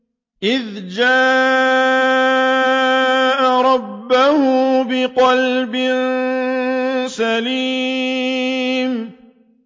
إِذْ جَاءَ رَبَّهُ بِقَلْبٍ سَلِيمٍ